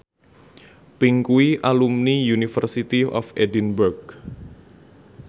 Pink kuwi alumni University of Edinburgh